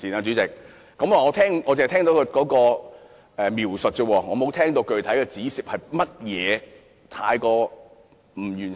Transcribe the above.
主席，我只聽到他描述，沒有聽到他具體指出哪些方面有欠完善。